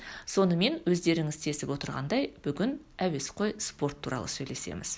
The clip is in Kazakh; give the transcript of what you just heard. сонымен өздеріңіз сезіп отырғандай бүгін әуесқой спорт туралы сөйлесеміз